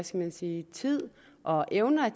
skal man sige tid og evner at